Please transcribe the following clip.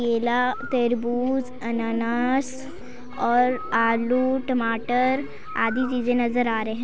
केला तरबूज अनानास और आलू टमाटर आदि चीजे नजर आ रहे--